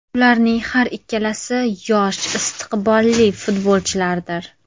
Ularning har ikkalasi yosh istiqbolli futbolchilardir”.